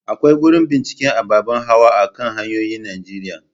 Akwai gurin binciken ababen hawa a kan hanyoyin Najeriya.